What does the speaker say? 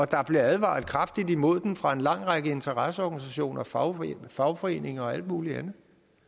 der blev advaret kraftigt imod den fra en lang række interesseorganisationer fagforeninger fagforeninger og alle mulige